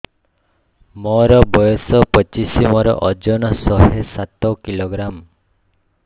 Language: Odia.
ମୋର ବୟସ ପଚିଶି ମୋର ଓଜନ ଶହେ ସାତ କିଲୋଗ୍ରାମ